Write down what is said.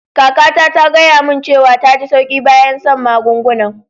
Kaka ta, ta gaya mun cewa ta ji sauƙi bayan san'magungunan.